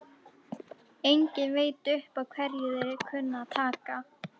Enginn veit upp á hverju þeir kunna að taka!